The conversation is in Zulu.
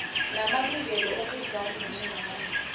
namalungelo obuzali ngengane